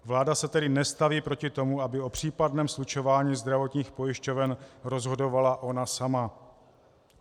Vláda se tedy nestaví proti tomu, aby o případném slučování zdravotních pojišťoven rozhodovala ona sama.